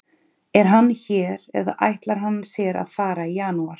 Er hann hér eða ætlar hann sér að fara í janúar?